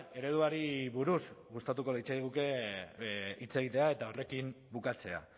ereduari buruz gustatuko litzaiguke hitz egitea eta horrekin bukatzea